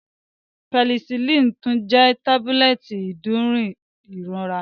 Penisillini tun jẹ tabulẹti iderun irora.